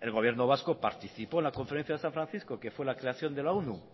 el gobierno vasco participó en la conferencia de san francisco que fue la creación de la onu